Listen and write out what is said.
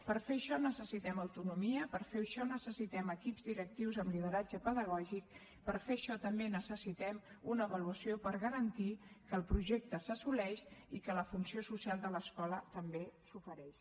per fer això necessitem autonomia per fer això necessitem equips directius amb lideratge pedagògic per fer això també necessitem una avaluació per garantir que el projecte s’assoleix i que la funció social de l’escola també s’ofereix